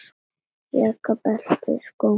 Jakka, belti og skó.